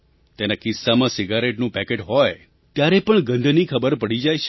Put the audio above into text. તેના ખિસ્સામાં સિગારેટનું પેકેટ હોય ત્યારે પણ ગંધથી ખબર પડી જાય છે